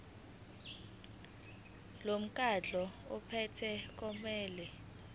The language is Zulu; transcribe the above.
lomkhandlu ophethe kumele